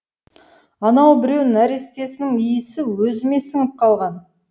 ана біреу нәрестесінің иісі өзіме сіңіп қалған